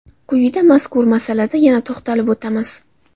Quyida mazkur masalada yana to‘xtalib o‘tamiz.